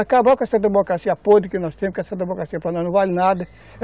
Acabou com essa democracia podre que nós temos, que essa democracia para nós não vale nada.